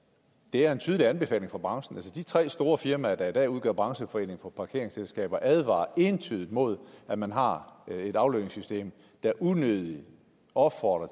er en tydelig anbefaling fra branchen altså de tre store firmaer der i dag udgør brancheforeningen for parkeringsselskaber advarer entydigt imod at man har et aflønningssystem der unødigt opfordrer